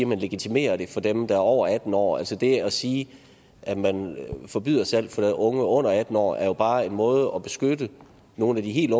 man legitimerer det for dem der er over atten år altså det at sige at man forbyder salg til unge under atten år er jo bare en måde at beskytte nogle af de helt